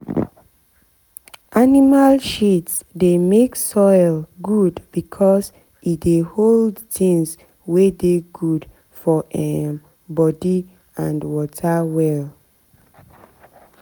animal shit dey make soil good because e dey hold things wey dey good for um body and water well.